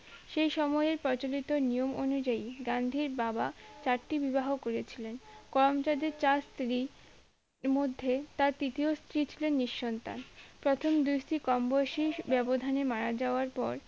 সেই সময় প্রচলিত নিয়ম অনুযায়ী গান্ধীর বাবা চারটি বিবাহ করেছিলেন করমচাঁদের চার স্ত্রী মধ্যে তার তৃতীয় স্ত্রী ছিলেন নিঃসন্তান প্রথম দুস্তি কম বয়সিস ব্যবধানে মারা যাওয়ার পর